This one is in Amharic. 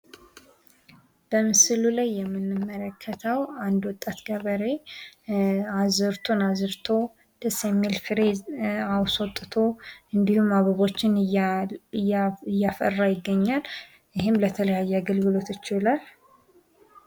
በምስሉ ላይ የምንመለከተው አንድ ወጣት ገበሬ አዝርቱን አዝርቶ ደስ የሚል ፍሬ አስወጥቶ እንዲሁም አበቦችን እያፈራ ይገኛል ። ይህም ለተለያዩ አገልግሎቶች ይውላል ።